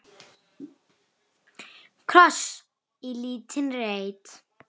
Kross í lítinn reit.